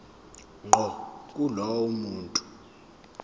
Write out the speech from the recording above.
ngqo kulowo muntu